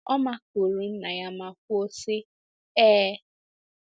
Ọ makụrụ nna ya ma kwuo sị, Ee!